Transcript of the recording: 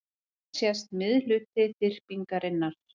Hér sést miðhluti þyrpingarinnar.